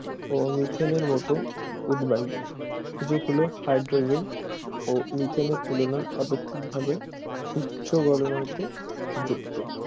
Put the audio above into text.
ও মিথেনের মতো উদ্বায়ু যেগুলো হাইড্রোজেন ও মিথেনের তুলনায় আপেক্ষিকভাবে উচ্চ গলনাঙ্ক যুক্ত